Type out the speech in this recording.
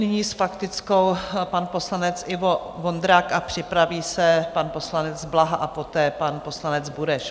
Nyní s faktickou pan poslanec Ivo Vondrák a připraví se pan poslanec Blaha a poté pan poslanec Bureš.